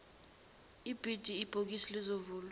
ibhidi ibhokisi lizovulwa